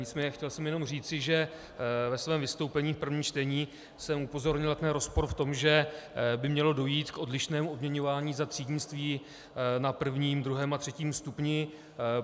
Nicméně chtěl jsem jenom říci, že ve svém vystoupení v prvním čtení jsem upozornil na rozpor v tom, že by mělo dojít k odlišnému odměňování za třídnictví na prvním, druhém a třetím stupni.